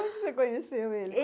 Onde você conheceu ele?